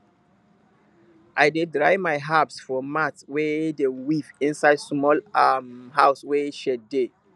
i dey dry my herbs for mat wey dem weave inside small um house wey shade dey